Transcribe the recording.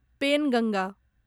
Penganga